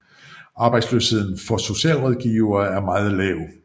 Arbejdsløsheden for socialrådgivere er meget lav